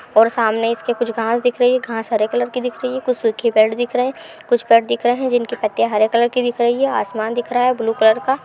और सामने इसके कुछ घास दिख रही है। घास हरे कलर की दिख रही है। कुछ सूखे पेड़ दिख रहै है। कुछ पेड़ दिख रहै है जिनकी पत्तियां हरे कलर की दिख रही हैं और आसमान दिख रहा है ब्लू कलर का।